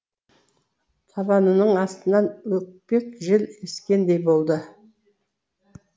табанының астынан өкпек жел ескендей болды